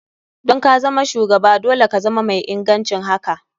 Don kazama shugaba dole ka zama mai ingancin haka.